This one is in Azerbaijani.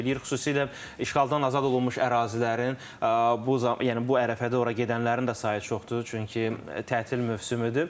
Xüsusilə işğaldan azad olunmuş ərazilərin bu, yəni bu ərəfədə ora gedənlərin də sayı çoxdur, çünki tətil mövsümüdür.